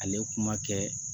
Ale kuma kɛ